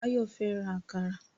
Báyọ̀ fẹ́ ra àkàrà